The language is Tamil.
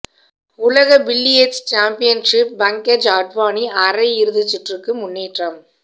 உலக பில்லியர்ட்ஸ் சாம்பியன்ஷிப் பங்கஜ் அத்வானி அரை இறுதிச் சுற்றுக்கு முன்னேற்றம்